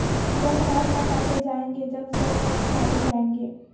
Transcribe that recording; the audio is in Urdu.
جب ہاتھ نہ کاٹے جائیں گے جب سر نہ اچھالے جائیں گے